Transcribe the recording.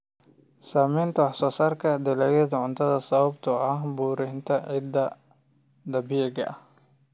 Saamaynta wax soo saarka dalagyada cuntada sababtoo ah burburinta ciidda dabiiciga ah.